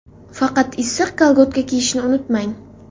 Faqat issiq kolgotka kiyishni unutmang.